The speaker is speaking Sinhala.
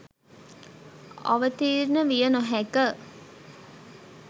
අවතීර්ණය විය නොහැකිය.